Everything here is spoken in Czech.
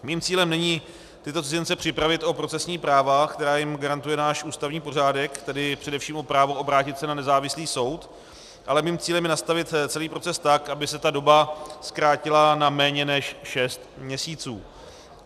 Mým cílem není tyto cizince připravit o procesní práva, která jim garantuje náš ústavní pořádek, tedy především o právo obrátit se na nezávislý soud, ale mým cílem je nastavit celý proces tak, aby se ta doba zkrátila na méně než šest měsíců.